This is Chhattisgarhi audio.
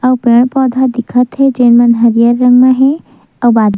आऊ पेड़-पौधा दिखत हे जेन मन हरियर बने हे आऊ बाद--